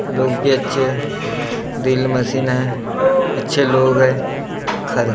लोग भी अच्छे हैंड्रिल मशीन हैं अच्छे लोग हैं खड़ा।